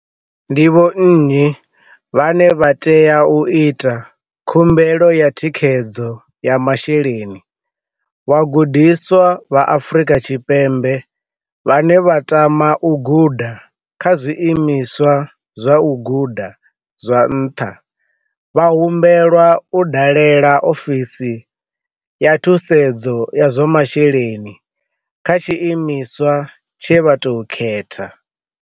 Ndi vhonnyi vhane vha tea u ita khumbelo ya thikhedzo ya masheleni Vhagudiswa vha Afrika Tshipembe vhane vha tama u guda kha zwiimiswa zwa u guda zwa nṱha vha humbelwa u dalela ofisi ya Thusedzo ya zwa Masheleni kha tshiimiswa tshe vha tou khetha.